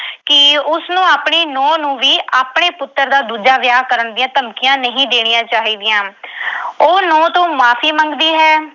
ਕਿ ਉਸਨੂੰ ਆਪਣੀ ਨੂੰਹ ਨੂੰ ਵੀ ਆਪਣੇ ਪੁੱਤਰ ਦਾ ਦੂਜਾ ਵਿਆਹ ਕਰਨ ਦੀਆਂ ਧਮਕੀਆਂ ਨਹੀਂ ਦੇਣੀਆਂ ਚਾਹੀਦੀਆਂ। ਉਹ ਨੂੰਹ ਤੋਂ ਮੁਆਫ਼ੀ ਮੰਗਦੀ ਹੈ।